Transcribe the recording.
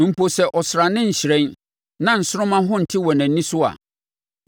Mpo sɛ ɔsrane nhyerɛn na nsoromma ho nte wɔ nʼani so a,